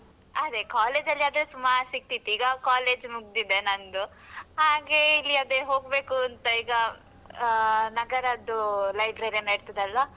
ಅದೇ college ಅಲ್ಲಿ ಆದ್ರೆ ಸುಮಾರ್ ಸಿಗ್ತಿತ್ತು. ಈಗ college ಮುಗ್ದಿದೆ ನಂದು ಹಾಗೆ ಇಲ್ಲಿ ಅದೇ ಹೋಗ್ಬೇಕು ಅಂತ ಈಗ ಅಹ್ ನಗರದ್ದು library ಏನೋ ಇರ್ತದಲ್ಲ.